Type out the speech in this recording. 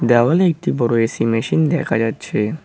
দেওয়ালে একটি বড় এ_সি মেশিন দেখা যাচ্ছে।